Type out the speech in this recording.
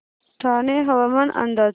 ठाणे हवामान अंदाज